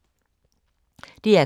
DR K